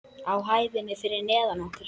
Á hæðinni fyrir neðan okkur.